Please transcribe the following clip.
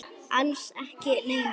Alls ekki neinar.